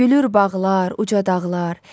Gülür bağlar, uca dağlar.